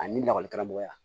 Ani lakɔli karamɔgɔya